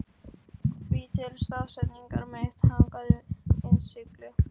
Því til staðfestingar mitt hangandi innsigli.